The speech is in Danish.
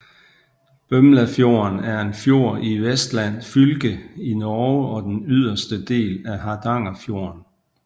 Bømlafjorden er en fjord i Vestland fylke i Norge og den yderste del af Hardangerfjorden